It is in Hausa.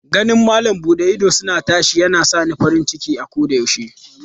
Ganin malam bude idosuna tashi yana sa ni farin ciki koyaushe.